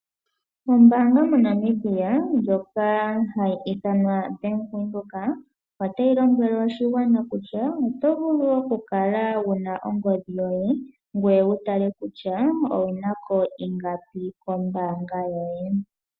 Ombaanga mo Namibia ndjoka hayi ithanwa Bank Windhoek .Otayi lombwele oshigwana kutya oto vulu oku kala wuna ongodhi yoye ngoye wutale kutya owuna ko ingapi kombaanga yoye.